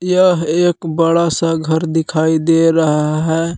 यह एक बड़ा सा घर दिखाई दे रहा है।